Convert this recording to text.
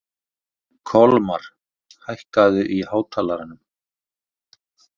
Kolmar, hækkaðu í hátalaranum.